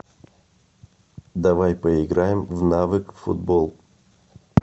давай поиграем в навык футбол